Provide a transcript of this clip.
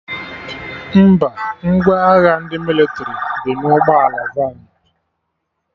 Mba, ngwa agha ndị mịlịtrị dị na ụgbọ ala vanụ